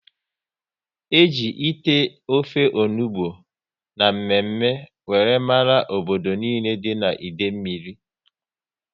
E ji ite ofe onugbu na mme mme wéré mara obodo nile dị n'Idemili